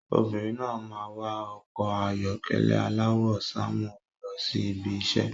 Obìnrin náà máa ń wà ọkọ̀ ayọ́kẹ́lẹ́ aláwọ̀ sánmọ̀ lọ sí ibi iṣẹ́.